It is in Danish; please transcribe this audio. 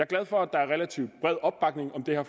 glad for at der er relativt bred opbakning om det her